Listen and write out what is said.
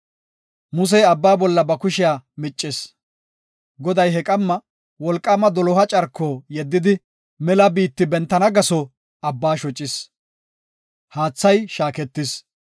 Musey Abba bolla ba kushiya miccis. Goday he qamma wolqaama doloha carko yeddidi mela biitti bentana gaso Abbaa shocis. Haathay shaaketis.